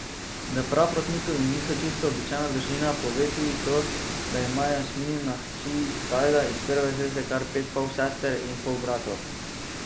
Da Praprotnikovi niso čisto običajna družina, pove tudi to, da ima Jasminina hči Tajda iz prve zveze kar pet polsester in polbratov.